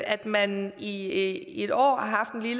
at man i et år